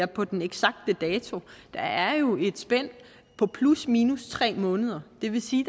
på den eksakte dato der er jo et spænd på plusminus tre måneder det vil sige